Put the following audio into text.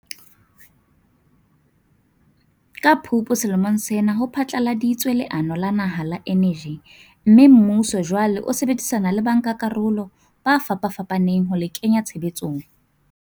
Ka Phupu selemong sena ho phatlaladitswe leano la naha la eneji mme, mmuso jwale o sebedisana le bankakarolo ba fapafapaneng ho le kenya tshebetsong.